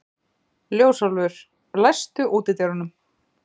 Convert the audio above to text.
Ljósálfur, læstu útidyrunum.